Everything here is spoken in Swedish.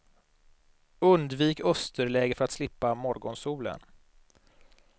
Undvik österläge för att slippa morgonsolen.